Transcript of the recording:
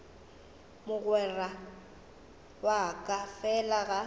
mogwera wa ka fela ga